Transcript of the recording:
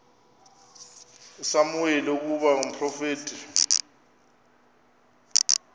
usamuweli ukuba ngumprofeti